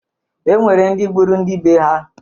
E nwere ndị gburu ndị bee ha.